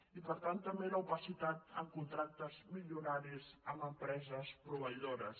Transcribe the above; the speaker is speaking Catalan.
i per tant també l’opacitat en contractes milionaris amb empreses proveïdores